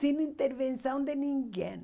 Sem intervenção de ninguém.